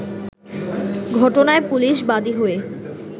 ঘটনায় পুলিশ বাদি হয়ে